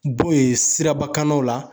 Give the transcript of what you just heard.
B'o ye sirabakannaw la